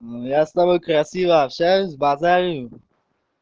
ну я с тобой красиво общаюсь говорю